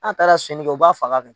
N'a taara sunyanni kɛ u b'a faga kɛ.